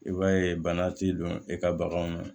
I b'a ye bana t'i don e ka baganw na